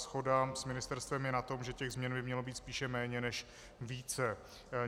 Shoda s ministerstvem je v tom, že těch změn by mělo být spíše méně než více.